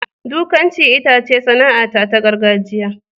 Dukanci itace sana'ata ta gargajiya.